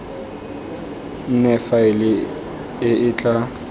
nne faele e e tla